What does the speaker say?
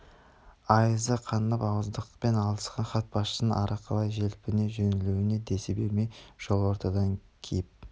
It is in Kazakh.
айызы қанып ауыздықпен алысқан бас хатшының ары қарай желпіне жөнелуіне десі бермей жол ортадан киіп